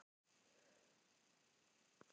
Segist heita Ísbjörg og vera ljón.